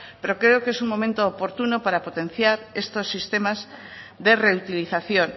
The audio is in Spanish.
pero creo que es un momento oportuno para potenciar estos sistemas de reutilización